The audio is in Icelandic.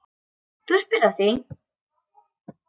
Þú spyrð að því.